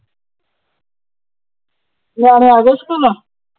ਨਿਆਣੇ ਆ ਗਿਆ ਸਕੂਲੋ,